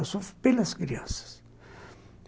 Eu sofro pelas crianças.